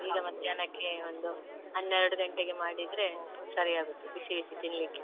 ಈಗ ಮಧ್ಯಾಹ್ನಕ್ಕೆ ಒಂದು ಹನ್ನೆರಡು ಗಂಟೆಗೆ ಮಾಡಿದ್ರೆ ಸರಿ ಆಗುತ್ತೆ ಬಿಸಿ ಬಿಸಿ ತಿನ್ಲಿಕ್ಕೆ.